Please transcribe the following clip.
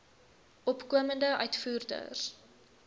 opkomende uitvoerders